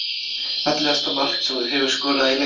Fallegasta mark sem þú hefur skorað í leik?